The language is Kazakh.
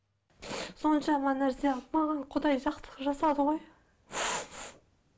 соншама нәрсе маған құдай жақсылық жасады ғой